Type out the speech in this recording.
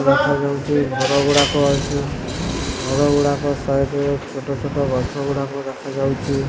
ଦେଖାଯାଉଚି ଘର ଗୁଡ଼ାକ ଅଛି। ଘର ଗୁଡ଼ାକ ସାଇଟ୍ ରେ ଛୋଟ ଛୋଟ ଗଛ ଗୁଡ଼ାକ ରଖାଯାଇଛି।